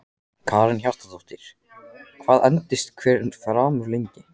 Karen Kjartansdóttir: Hvað endist hver farmur lengi?